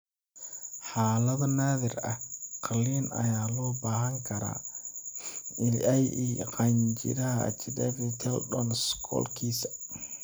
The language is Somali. Xaalado naadir ah, qalliin ayaa loo baahan karaa (ie. qanjidhada Achiliska tendon ama scoliosika).